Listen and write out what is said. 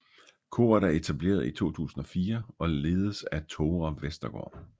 Koret er etableret i 2004 og ledes af Tóra Vestergaard